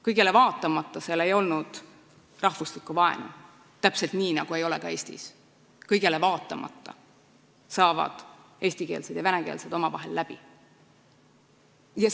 Kõigele vaatamata ei olnud seal rahvuslikku vaenu, täpselt nii nagu ei ole ka Eestis, kus kõigele vaatamata saavad eestikeelsed ja venekeelsed inimesed omavahel läbi.